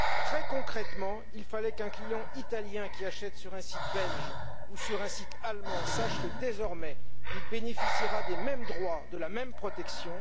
Très concrètement, il fallait qu'un client italien qui achète sur un site belge ou sur un site allemand sache que, désormais, il bénéficiera des mêmes droits, de la même protection.